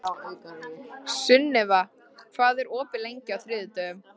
Sunniva, hvað er opið lengi á þriðjudaginn?